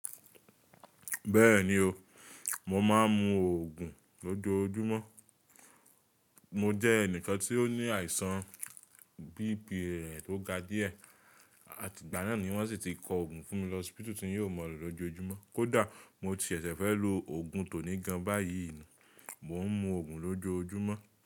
Bẹ́ẹ̀ni o, mo máa ń mu Ògùn lójoojúmọ́. Mo jẹ́ ẹnìkan tí ó ní àìsàn BP rẹ tó ga díẹ̀, àti ìgbà náà ni wọ́n sì ti kọ Ògùn fún mi lọspítu tí n yoo mọn lo lójoojúmọ́. Kódà mo ti ṣẹ̀ṣẹ̀ fẹ́ lo Ògùn tó ní gan báyìí nì, mò ń mu Ògùn lójoojúmọ́